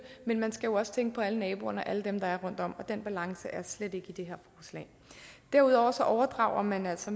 men man skal også tænke på alle naboerne og alle dem der er rundt om og den balance er der slet ikke i det her forslag derudover overdrager man altså